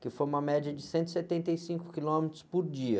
que foi uma média de cento e setenta e cinco quilômetros por dia.